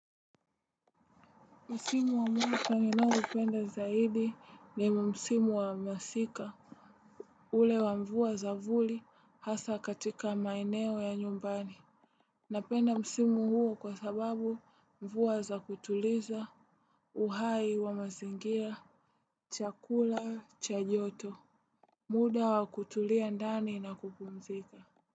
Msimu wa mwaka ninaoupenda zaidi ni msimu wa masika. Ule wa mvua za vuli hasa katika maeneo ya nyumbani. Napenda msimu huo kwa sababu mvua za kutuliza uhai wa mazingira, chakula, cha joto. Muda wa kutulia ndani na kupumzika.